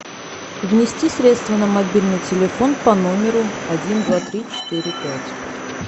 внести средства на мобильный телефон по номеру один два три четыре пять